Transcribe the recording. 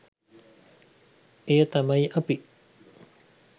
එය තමයි අපි